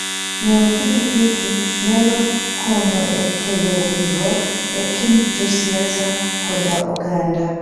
Ng'iewo pikipiki nyalo konyo e kelo winjruok e kind josiasa koda oganda.